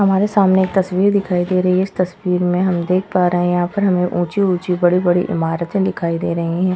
हमारे सामने एक तस्वीर दिखाई दे रही है। इस तस्वीर में हम देख पा रहे है यहाँ पर हमे ऊँची-ऊँची बड़ी-बड़ी ईमारते दिखाई दे रही हैं।